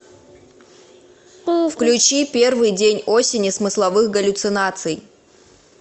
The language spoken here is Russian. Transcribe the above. включи первый день осени смысловых галлюцинаций